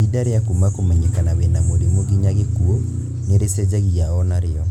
Ihinda rĩa kuma kũmenyekana wĩna mũrimu nginya gĩkuũ nĩrĩcenjagia onario